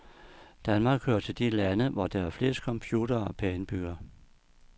Danmark hører til de lande, hvor der er flest computere per indbygger.